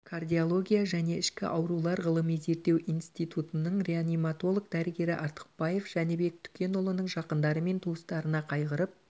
кардиология және ішкі аурулар ғылыми-зерттеу институтының реаниматолог дәрігері артықбаев жәнібек түкенұлының жақындары мен туыстарына қайғырып